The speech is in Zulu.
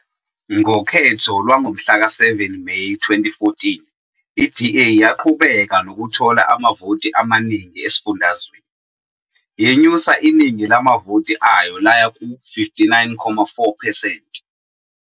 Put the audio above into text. Ngokhetho lwangomhlaka 7 Meyi 2014 iDA yaqhubeka nokuthola amavoti amaningi esifundazweni, yenyusa iningi lamavoti ayo laya ku-59.4 percent.